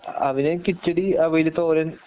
അവന് കിച്ചടി അവിയല് തോരൻ